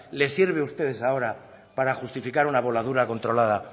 le sirve a ustedes ahora para justificar una voladura controlada